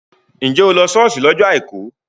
Njẹ́ o lọ ṣọ́ọ̀ṣì lọ́jọ́ àìkú?